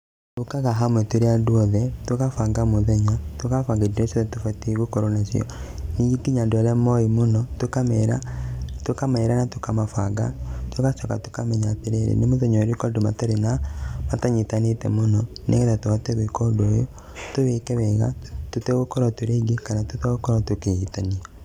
Tũkaga hamwe tũrĩ andũ othe, tũgabanga mũthenya, tũgabanga indo irĩa ciothe tũbatiĩ gũkorwo nacio. Nyingĩ ngina andũ arĩa moĩ mũno tũkamera, tũkamera na tũkamabanga, tũgacoka tũkamenya atĩrĩrĩ, nĩ mũthenya ũrĩkũ andũ mataĩ na matanyitanĩte mũno nĩ getha tũhote gwĩka ũndũ ũyũ, tũwĩke wega tũtegũkorwo tũrĩ aingĩ kana tũtegũkorwo tũkĩhĩtania.